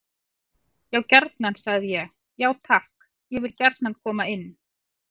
Já gjarnan, sagði ég: Já takk, ég vil gjarnan koma inn.